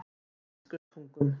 Biskupstungum